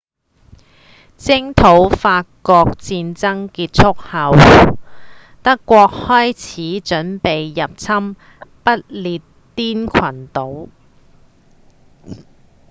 征討法國的戰爭結束後德國開始準備入侵不列顛群島